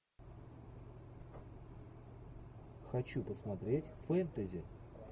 хочу посмотреть фэнтези